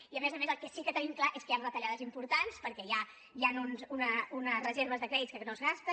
i a més a més el que sí que tenim clar és que hi han retallades importants perquè hi han unes reserves de crèdit que no es gasten